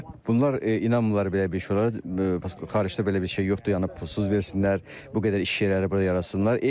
Bunlar inanmırlar belə bir şeylərə xaricdə belə bir şey yoxdur, yəni pulsuz versinlər, bu qədər iş yerləri burada yaratsınlar.